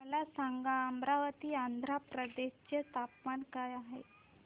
मला सांगा अमरावती आंध्र प्रदेश चे तापमान काय आहे